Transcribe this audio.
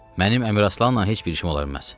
Mənim Əmiraslanla heç bir işim ola bilməz.